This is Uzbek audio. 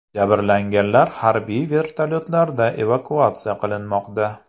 Jabrlanganlar harbiy vertolyotlarda evakuatsiya qilinmoqda.